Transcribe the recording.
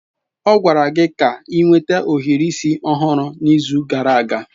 Ọ gwara gị ka ị nweta ohiri isi ọhụrụ n'izu gara aga!